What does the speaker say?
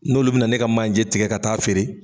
N'olu bena na ka manje tigɛ ka t'a feere